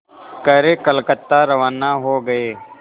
कर कलकत्ता रवाना हो गए